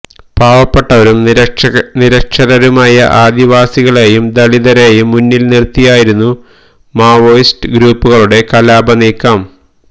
പാവപ്പെട്ടവരും നിരക്ഷരരുമായ ആദിവാസികളെയും ദളിതരെയും മുന്നില് നിര്ത്തിയായിരുന്നു മാവോയിസ്റ്റ് ഗ്രൂപ്പുകളുടെ കലാപ നീക്കം